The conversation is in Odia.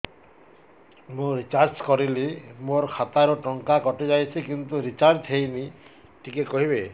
ମୁ ରିଚାର୍ଜ କରିଲି ମୋର ଖାତା ରୁ ଟଙ୍କା କଟି ଯାଇଛି କିନ୍ତୁ ରିଚାର୍ଜ ହେଇନି ଟିକେ କହିବେ